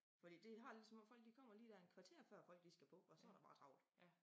Fordi det har lige som om folk de kommer lige der en kvarter før folk de skal på og så der bare travlt